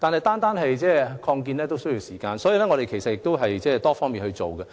但是，擴建需要時間，所以，當局會從多方面着手。